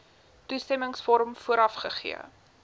toestemmingsvorm vooraf gegee